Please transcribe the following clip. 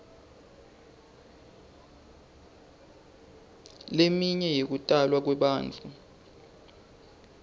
leminye yekutalwa kwebantfu